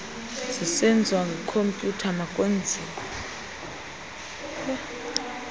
zisenziwa ngekhompyutha makwenziwe